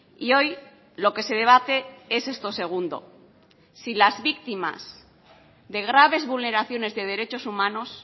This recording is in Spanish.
y hoy lo que se debate es esto segundo si las víctimas de graves vulneraciones de derechos humanos